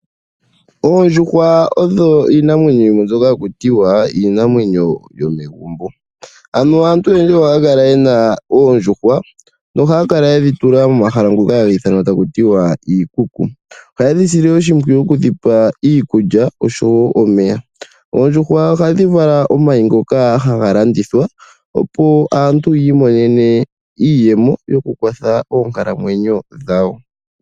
Oondjuhwa odho iinamwenyo yimwe mbyoka haku tiwa iinamwenyo yomegumbo. Aantu oyendji ohaya kala yena oondjuhwa, nohaya kala yedhi tula momahala ngoka haga ithanwa iikuku. Ohaye dhi sile oshimpwiyu okudhipa iikulya oshowoo omeya. Oondjuhwa ohadhi vala omayi ngoka haga landithwa opo aantu yiimonene iiyemo yokukwatha oonkalamwenyo dhawo.